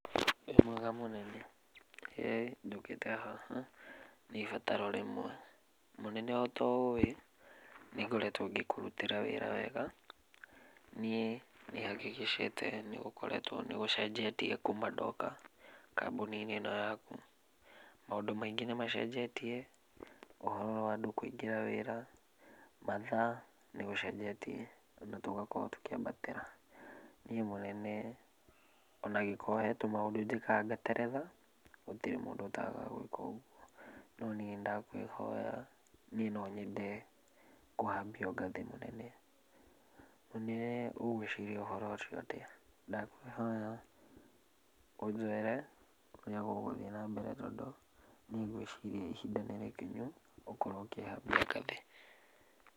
Wĩ mwega mũnene. Ĩĩ. Njũkĩte haha nĩibataro rĩmwe. Mũnene ota ũwĩ nĩngoretũo ngĩkũrutĩra wĩra wega, niĩ nĩhakikicĩte nĩgũkoretwo nĩgũecenjetie kuma ndoka kambũni-inĩ ĩno yaku. Maũndũ maingĩ, nĩmacenjetie. Ũhoro wa andũ kũingĩra wĩra, mathaa nĩgũcenjetie, ona tũgakorwo tũkĩambatĩra. Niĩ mũnene ona angĩokorwo hena tũmaũndũ njĩkaga ngateretha, gũtirĩ mũndũ ũtagaga gũĩka ũguo. No niĩ ndĩndakwĩhoya, niĩ nonyende kũhambio ngathĩ mũnene, na nĩwe ũgũĩciria ũhoro ũcio atĩa. Ndakwĩhoya, ũnjĩre ũrĩa gũgũthiĩ nambere tondũ niĩ ngwĩciria ihinda nĩrĩkinyu, gũkorwo ũkĩhambia ngathĩ.